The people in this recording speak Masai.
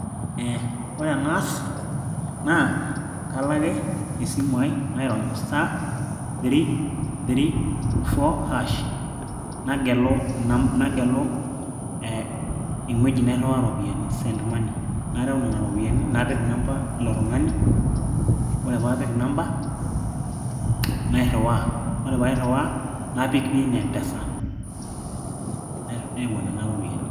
ee ore enaas naa kalo ake esimu ai nairony *334# nagelu eng'ueji nairriwaa iropiyiani send money narew nena ropiyiani napik inamba ilo tung'ani ore paapik inamba nairriwaa ore paairriwa napik pin e mpesa nepuo nena ropiyiani.